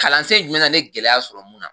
Kalansen jumɛn na ne ye gɛlɛya sɔrɔ mun na?